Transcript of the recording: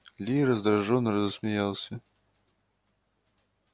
ли раздражённо рассмеялся